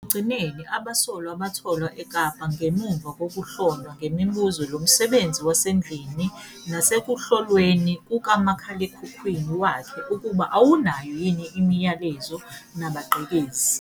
Ekugcineni abasolwa batholwa eKapa ngemuva kokuhlonywa ngemibuzo lomsebenzi wasendlini nasekuhlolweni kukamakhalekhikhini wakhe ukuba awunayo yini imiyalezo nabagqekezi.